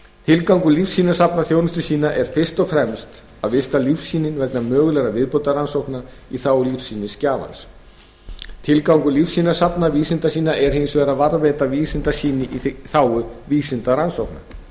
tilgangur lífsýnasafna þjónustusýna er fyrst og fremst að vista lífsýni vegna mögulegra viðbótarrannsókna í þágu lífsýnisgjafans tilgangur lífsýnasafna vísindasýna er hins vegar að varðveita vísindasýni í þágu vísindarannsókna